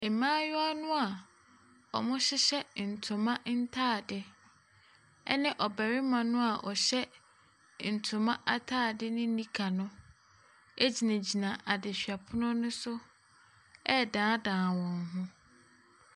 Mmaayewa no a wɔhyehyɛ ntoma ntadeɛ ne ɔbarima no a ɔhyɛ ntoma atadeɛ ne nika no gyinagyina adehwɛpono no so redanedane wɔn ho.